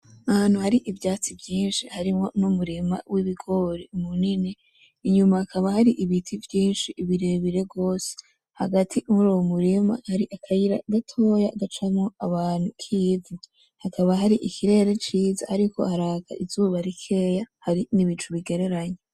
Ahantu hari ivyatsi vyinshi harimwo n’umurima w’ibigori munini. Inyuma hakaba hari ibiti vyinshi birebire gose. Hagati muri uwo murima hari akayira gatoya gacamwo abantu k’ivu. Hakaba hari ikirere ciza ariko haraka izuba bikeya, hari n’ibicu bigereranye.